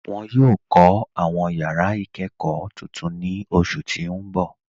Wọn yọ kọ awọn yara ikẹkọ tuntun ni oṣu ti n bọ.